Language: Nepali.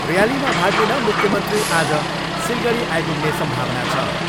ऱ्यालीमा भाग लिन मुख्यमन्त्री आज सिलगढी आइपुग्ने सम्भावना छ।